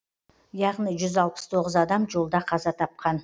яғни жүз алпыс тоғыз адам жолда қаза тапқан